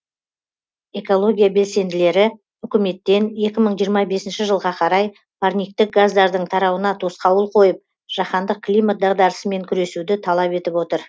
экология белсенділері үкіметтен екі мың жиырма бесінші жылға қарай парниктік газдардың тарауына тосқауыл қойып жаһандық климат дағдарысымен күресуді талап етіп отыр